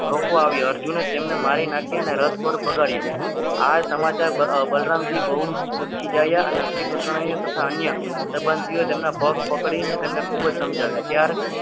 રોકવા આવ્યા અર્જુન ને તેને મારી નાખીને રથ પણ ભગાડ્યો આ સમાચાર બલરામજી બહુ જાય અને શ્રીકૃષ્ણએ તથા અન્ય સંબંધીઓ તેમના પગ પકડીને તેમને ખૂબ જ સમજાવ્યા ત્યાર